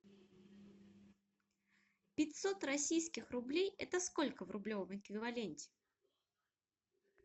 пятьсот российских рублей это сколько в рублевом эквиваленте